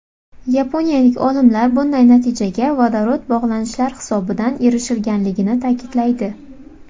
Yaponiyalik olimlar bunday natijaga vodorod bog‘lanishlar hisobidan erishilganligini ta’kidlaydi.